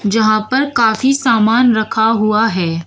जहां पर काफी सामान रखा हुआ है।